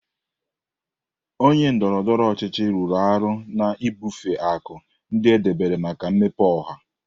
Onye ndọrọ ndọrọ ọchịchị rụrụ arụ na-ebufe akụ ndị edebere maka mmepe ọha.